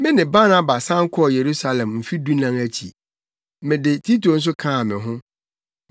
Me ne Barnaba san kɔɔ Yerusalem Mfe dunan akyi. Mede Tito nso kaa me ho.